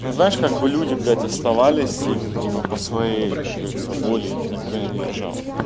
ну знаешь как бы люди блять оставались и типа по своей как говорится воле их никто не держал